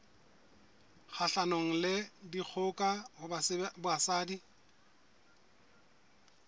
kgahlanong le dikgoka ho basadi